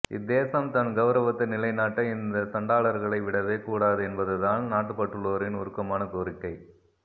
இத்தேசம் தன் கவுரவத்தை நிலைநாட்ட இந்த சண்டாளர்களை விடவே கூடாது என்பதுதான் நாட்டுபற்றுள்ளோரின் உருக்கமான கோரிக்கை